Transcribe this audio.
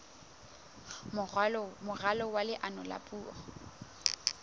moralo wa leano la puo